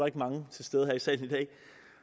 ikke mange til stede her i salen i dag